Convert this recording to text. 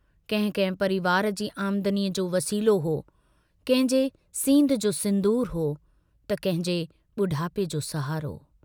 कहिं कंहिं परिवार जी आमदनी जो वसीलो हो कंहिंजे सींधं जो सिन्दूर हो, त कंहिंजे बुढापे जो सहारो।